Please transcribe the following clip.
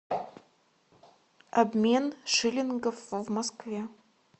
обмен шиллингов в москве